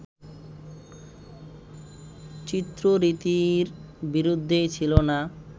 চিত্ররীতির বিরুদ্ধেই ছিল না